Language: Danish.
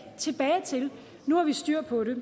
tilbage til nu har vi styr på det